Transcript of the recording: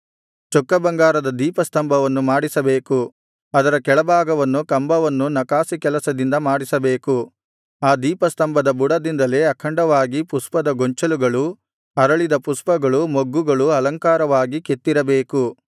ಚೊಕ್ಕ ಬಂಗಾರದ ದೀಪಸ್ತಂಭವನ್ನು ಮಾಡಿಸಬೇಕು ಅದರ ಕೆಳಭಾಗವನ್ನು ಕಂಬವನ್ನೂ ನಕಾಸಿ ಕೆಲಸದಿಂದ ಮಾಡಿಸಬೇಕು ಆ ದೀಪಸ್ತಂಭದ ಬುಡದಿಂದಲೇ ಅಖಂಡವಾಗಿ ಪುಷ್ಪದ ಗೊಂಚಲುಗಳು ಅರಳಿದ ಪುಷ್ಪಗಳು ಮೊಗ್ಗುಗಳು ಅಲಂಕಾರವಾಗಿ ಕೆತ್ತಿರಬೇಕು